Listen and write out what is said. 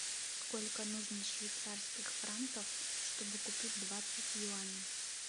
сколько нужно швейцарских франков чтобы купить двадцать юаней